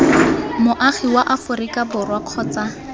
moagi wa aforika borwa kgotsa